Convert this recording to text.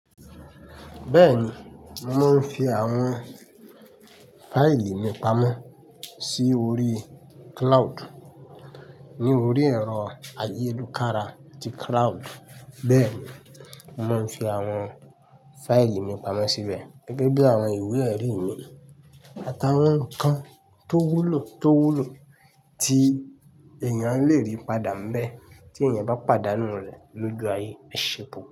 Bẹ́ẹ̀ni, mò mo ń fi àwọn fáìlì mi pamọ́ sí orí cloud. Ní orí ẹ̀rọ ayélukára ti cloud, bẹ́ẹ̀ ni mò ń fi àwọn fáìlì mi pamọ́ síbẹ̀ gẹ́gẹ́ bí àwọn ìwé ẹ̀rí mi àt'àwọn ǹkan tó wúlò tó wúlò tí èèyàn lè rí padà níbẹ̀ tí èèyàn bá pàdánù rẹ̀ lóju aye ẹ̀ ṣe pupọ̀